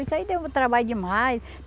Isso aí deu trabalho demais.